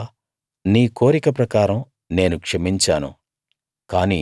యెహోవా నీ కోరిక ప్రకారం నేను క్షమించాను